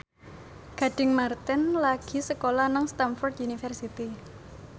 Gading Marten lagi sekolah nang Stamford University